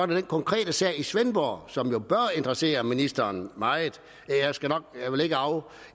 den konkrete sag i svendborg som jo bør interessere ministeren meget